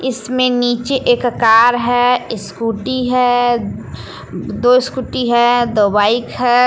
इसमें नीचे एक अकार है ईस्कूटी है दो स्कूटी है दो बाइक है।